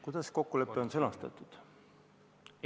Kuidas kokkulepe on sõnastatud?